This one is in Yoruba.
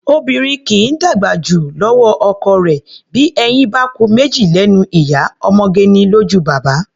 Obìnrin kì í dàgbà jù lọ́wọ́ ọkọ rẹ̀; bí eyín bá ku méjì lẹ́nu ìyá, ọmọge ni lójú baba.